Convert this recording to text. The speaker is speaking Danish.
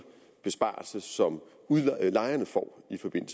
besparelse som lejerne får